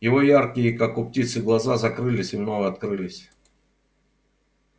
его яркие как у птицы глаза закрылись и вновь открылись